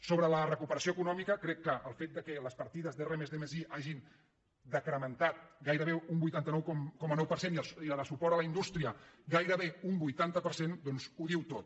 sobre la recuperació econòmica crec que el fet que les partides d’r+d+i s’hagin decrementat gairebé un vuitanta nou coma nou per cent i la de suport a la indústria gairebé un vuitanta per cent doncs ho diu tot